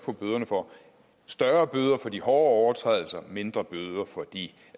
på bøderne for større bøder for de hårde overtrædelser og mindre bøder for de